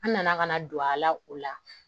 An nana ka na don a la o la